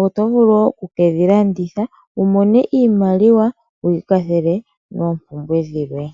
oto vulu wo oku kedhi landitha wu mone iimaliwa wu ikwathele moompumbwe dhilwe.